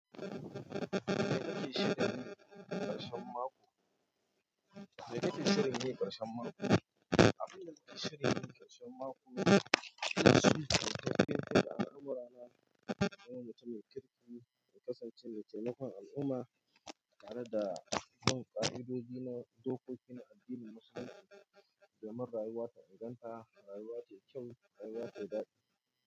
Mai ka ke shirin yi ƙarshen mako? Mai ka ke shirin yi ƙarshen mako? Abin da nake shirin yi ƙarshen mako yana shafi ƙarfafawa al'amura na domin ta maimakon kasancewa taimakon al'umma tare da bin ƙa'idodi na dokoki na addinin Musulunci domin rayuwata inganta, rayuwa ce kyau, rayuwa ce dadi.